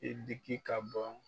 I diki ka bɔ